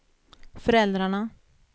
föräldrarna